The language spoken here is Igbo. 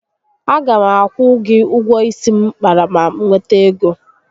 A ga m akwụ gị ụgwọ isi m kpara ma m nwete ego